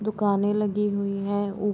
दुकाने लगी हुई है उ --